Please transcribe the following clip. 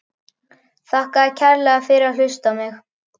Þakka þér kærlega fyrir að hlusta á mig!